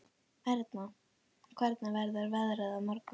Erna, hvernig verður veðrið á morgun?